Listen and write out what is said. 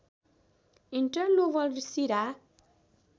interlobar शिरा